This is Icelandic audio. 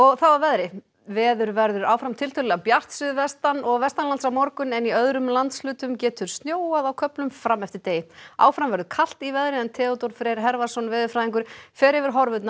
þá að veðri veður verður áfram tiltölulega bjart suðvestan og vestanlands á morgun en í öðrum landshlutum getur snjóað á köflum fram eftir degi áfram verður kalt í veðri en Theodór Freyr Hervarsson veðurfræðingur fer yfir horfurnar